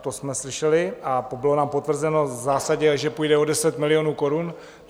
to jsme slyšeli a bylo nám potvrzeno v zásadě, že půjde o 10 milionů korun.